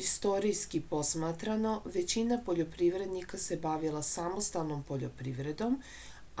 istorijski posmatrano većina poljoprivrednika se bavila samostalnom poljoprivredom